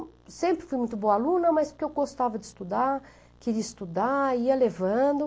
E eu sempre fui muito boa aluna, mas porque eu gostava de estudar, queria estudar, ia levando.